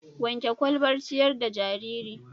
Wanke ƙwalbar ciƴar da jariri.